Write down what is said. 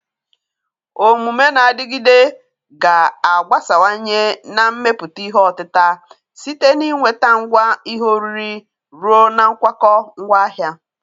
Omume na-adịgide ga-agbasawanye na mmepụta ihe otita, site na ị nweta ngwa ihe oriri ruo na nkwakọ ngwaahịa.